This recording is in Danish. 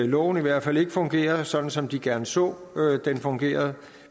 loven i hvert fald ikke fungerer sådan som de gerne så den fungerede